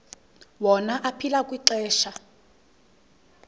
wona aphila kwixesha